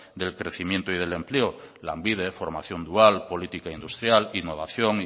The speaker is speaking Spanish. del crecimiento y el empleo lanbide formación dual política industrial innovación